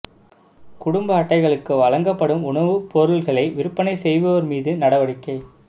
குடும்ப அட்டைகளுக்கு வழங்கப்படும் உணவுப் பொருள்களை விற்பனை செய்வோா் மீது நடவடிக்கை